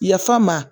Yafa ma